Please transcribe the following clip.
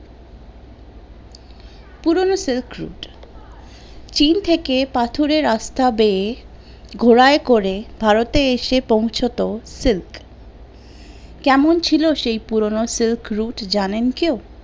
silk route চিন থেকে পাথরের রাস্তা বেয়ে ঘোড়ায় করে ভারতে এসে পোঁছাত সিল্ক, কেমন ছিলো সেই পুরোনো silk route জানেন কেউ?